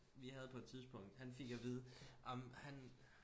Vi havde på et tidspunkt han fik at vide ej men han